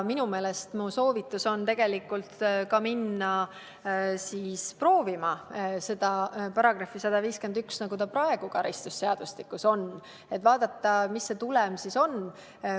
Ma soovitan tegelikult minna proovima seda § 151, nagu see praegu karistusseadustikus on, et vaadata, mis see tulem siis on.